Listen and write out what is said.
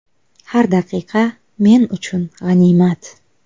Har daqiqa men uchun g‘animat.